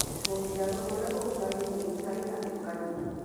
Mũbirarũ urĩa ũguraritio rĩu ndarĩ hatĩka-inĩ